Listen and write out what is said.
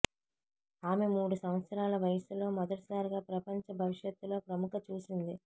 ఆమె మూడు సంవత్సరాల వయసులో మొదటిసారిగా ప్రపంచ భవిష్యత్తులో ప్రముఖ చూసింది